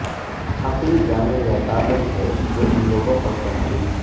حقیر جانے یا طاقت ہے جو ان لوگوں پر تنقید